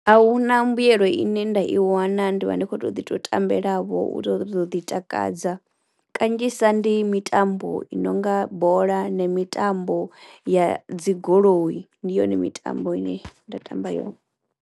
Ahuna mbuyelo ine nda i wana ndi vha ndi kho to ḓi to tambela vho u to ḓo u ḓi takadza kanzhisa ndi mitambo i nonga bola na mitambo ya dzi goloi, ndi yone mitambo ine nda tamba yone.